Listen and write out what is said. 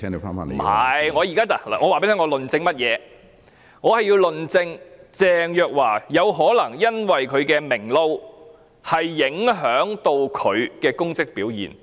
我沒有，我現在告訴你，我要論證鄭若驊有可能因為"明撈"，而影響到她在其職位上的表現。